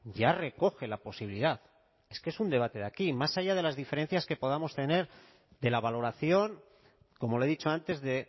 ya recoge la posibilidad es que es un debate de aquí más allá de las diferencias que podamos tener de la valoración como le he dicho antes de